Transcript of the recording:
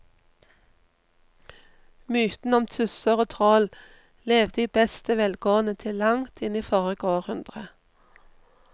Mytene om tusser og troll levde i beste velgående til langt inn i forrige århundre.